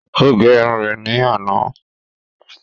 Ó gẹ irun rẹ̀ ní àná